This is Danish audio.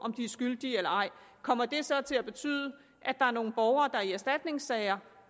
om de er skyldige eller ej kommer det så til at betyde at der er nogle borgere i erstatningssager